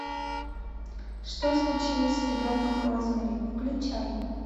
что случилось с ребенком розмари включай